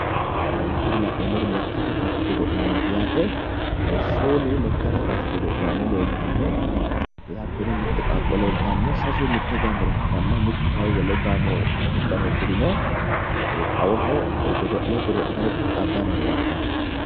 Kuri la'neemmori lekkate kaase godo'laanooti yaate shoolu lekkate kaase godo'laano leeltanno hattono mitte qaaqo leeltanno sasu mitte gaamore ikkitanna mittu kayi wole gaamoha uddano uddirino xawoho godo'le godo'litara qixxaabbanni noore labbanno.